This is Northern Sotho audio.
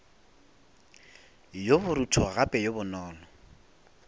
yo borutho gape yo bonolo